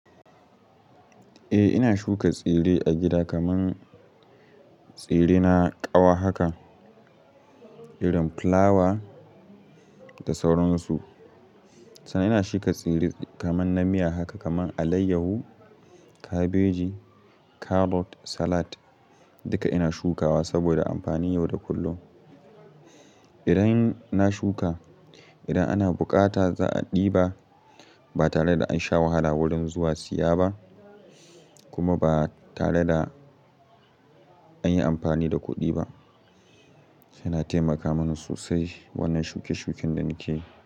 Eh ina shuka tsire a gida kaman tsire na ƙawa haka, irin fulawa da sauransu. Sannan ina shuka tsire kaman na miya haka kaman alaiyahu, kabeji, karot, salat duka ina shukawa saboda amfani yau da kullum. Idan na shuka, idan ana bukata za a ɗiba ba tare da an sha wahala wurin zuwa siya ba kuma ba tare da an yi amfani da kuɗi ba. Yana taimaka mini sosai wannan suke suke da nakeyi.